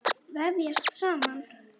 Vefjast saman.